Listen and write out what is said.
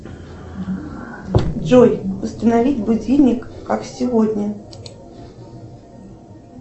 джой установить будильник как сегодня